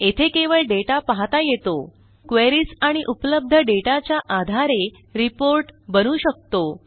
येथे केवळ डेटा पाहता येतो क्वेरीज आणि उपलब्ध डेटाच्या आधारे रिपोर्ट बनवू शकतो